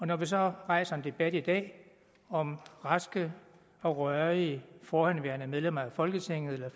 når vi så rejser en debat i dag om raske og rørige forhenværende medlemmer af folketinget eller